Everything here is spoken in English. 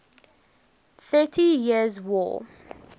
thirty years war